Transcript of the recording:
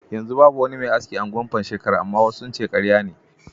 A yanzu babu wani mai aski a unguwar Pansheka, amma wasu sun ce karya ne.